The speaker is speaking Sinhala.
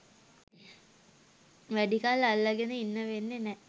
වැඩි කල් අල්ලගෙන ඉන්න වෙන්නෙ නෑ